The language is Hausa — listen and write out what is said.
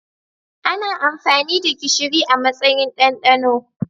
Ana amfani da gishiri a matsayin dandano.